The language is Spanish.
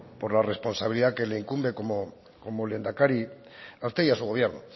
por la responsabilidad que le incumbe como lehendakari a usted y a su gobierno